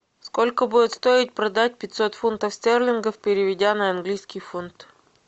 сколько будет стоить продать пятьсот фунтов стерлингов переведя на английский фунт